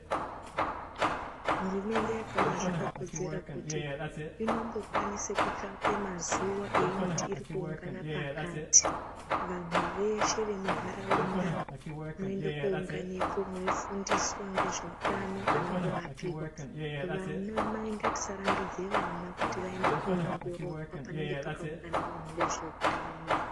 Hurumende yakaona zvakakodzera kuti inongokwanise kutsvake mazuwa eyinoti irikuungana pakati, vanhu veshe vemundaraunda mwoende kounganepo meifundiswa nezveutano kana kurapiwa vana mai ngatisa rambidze vana kuti vaende ko ongororwa panenge pakaungana vanhu vezveutano.